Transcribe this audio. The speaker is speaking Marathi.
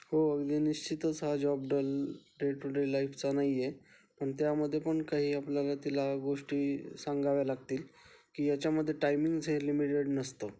हो आणि अनिश्चितच हा job dull day to day लाईफचा नाही ये पण त्यामध्ये पण काही आपल्याला गोष्टी सांगाव्या लागतील, याच्यामध्ये टाईमिंगचं लिमिटेड नसतो.